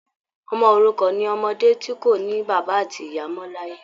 Ọmọ òrukàn ni ọmọdé ti kò ní bàbá àti ìyá mọ l'ayé.